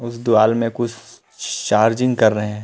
उस दीवाल में कुछ चार्जिंग कर रहे है।